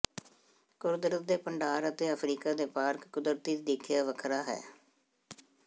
ਕੁਦਰਤ ਦੇ ਭੰਡਾਰ ਅਤੇ ਅਫਰੀਕਾ ਦੇ ਪਾਰਕ ਕੁਦਰਤੀ ਦੇਖਿਆ ਵੱਖਰਾ ਹੈ